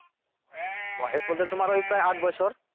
বয়স বলতে তোমার ওই প্রায় আট বছর